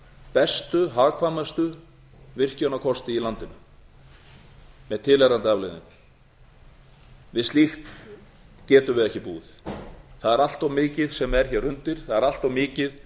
bestu hagkvæmustu virkjunarkosti í landinu með tilheyrandi afleiðingum við slíkt getum við ekki búið það er allt of mikið sem er hér undir það er allt of mikið